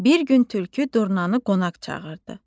Bir gün Tülkü Durnanı qonaq çağırdı.